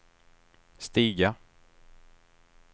stiga